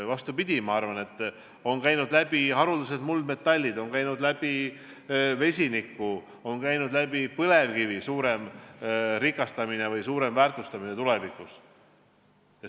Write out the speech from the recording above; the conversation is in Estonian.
Vastupidi, ma arvan, et on käinud läbi haruldased muldmetallid, on käinud läbi vesinik, on käinud läbi põlevkivi suurem väärtustamine tulevikus.